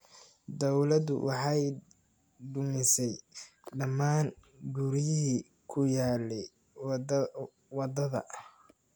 Dawladdu waxay dumisay dhammaan guryihii ku yaallay wadadha